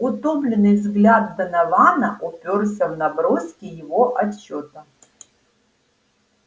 утомлённый взгляд донована упёрся в наброски его отчёта